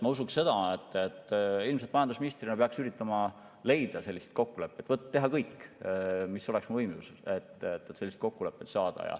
Ma usun seda, et majandusministrina peaksin ilmselt üritama leida selliseid kokkuleppeid, teha kõik, mis oleks võimalik, et selliseid kokkuleppeid saada.